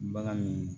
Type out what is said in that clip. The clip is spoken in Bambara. Bagan min